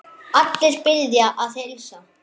Allir biðja að heilsa.